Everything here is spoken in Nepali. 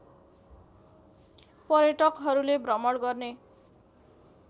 पर्यटकहरूले भ्रमण गर्ने